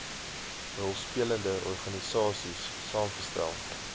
rolspelende organisaies saamgestel